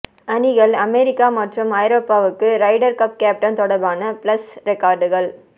அணிகள் அமெரிக்கா மற்றும் ஐரோப்பாவுக்கு ரைடர் கப் கேப்டன் தொடர்பான பிளஸ் ரெக்கார்டுகள்